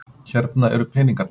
Hérna eru peningarnir.